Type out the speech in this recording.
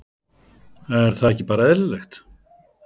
Er það ekki bara eðlilegt?